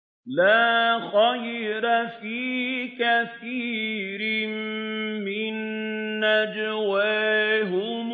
۞ لَّا خَيْرَ فِي كَثِيرٍ مِّن نَّجْوَاهُمْ